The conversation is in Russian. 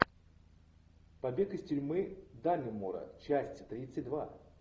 побег из тюрьмы даннемора часть тридцать два